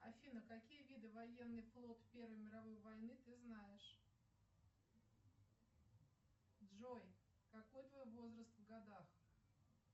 афина какие виды военный флот первой мировой войны ты знаешь джой какой твой возраст в годах